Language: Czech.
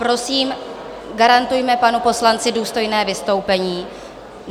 Prosím, garantujme panu poslanci důstojné vystoupení.